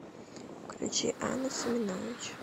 включи анну семенович